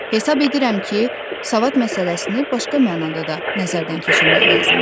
Hesab edirəm ki, savad məsələsini başqa mənada da nəzərdən keçirmək lazımdır.